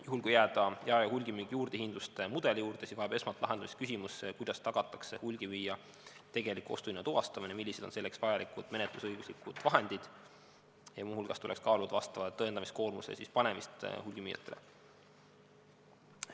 Juhul, kui jääda jae- ja hulgimüügi juurdehindluste mudeli juurde, siis vajab esmalt lahendust küsimus, kuidas tagatakse hulgimüüja tegelik ostuhinna tuvastamine, millised on selleks vajalikud menetlusõiguslikud vahendid, ja muu hulgas tuleks kaaluda vastava tõendamiskoormuse panemist hulgimüüjatele.